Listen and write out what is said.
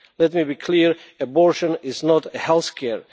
Let me be clear, abortion is not health care.